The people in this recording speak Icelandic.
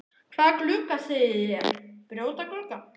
Hvaða glugga segi ég, brjóta glugga?